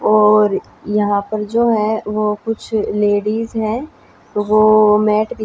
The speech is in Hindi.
और यहां पर जो है वो कुछ लेडिस है वो मैट बि--